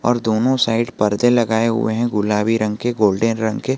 और दोनों साइड परदे लगाए हुए है गुलाबी रंग के गोल्डन रंग के।